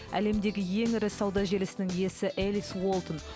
әлемдегі ең ірі сауда желісінің иесі элис уолтон